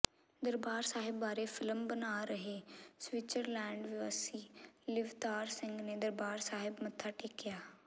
ਦਰਬਾਰ ਸਾਹਿਬ ਬਾਰੇ ਫਿਲਮ ਬਣਾ ਰਹੇ ਸਵਿਟਜ਼ਰਲੈਂਡ ਵਾਸੀ ਲਿਵਤਾਰ ਸਿੰਘ ਨੇ ਦਰਬਾਰ ਸਾਹਿਬ ਮੱਥਾ ਟੇਕਿਆ